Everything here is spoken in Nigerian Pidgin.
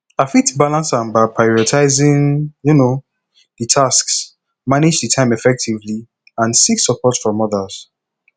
i fit balance am by prioritizing um di tasks manage di time effectively and seek support from odas